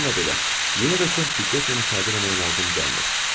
Bununla belə yenə də çox diqqətlə müşahidə eləmək lazım gəlmir.